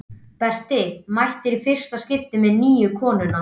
Berti mætir í fyrsta skipti með nýju konuna.